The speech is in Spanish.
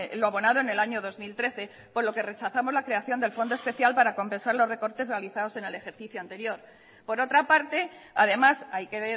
lo abonado en el año dos mil trece por lo que rechazamos la creación del fondo especial para compensar los recortes realizados en el ejercicio anterior por otra parte además hay que